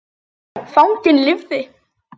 Fanginn lifði.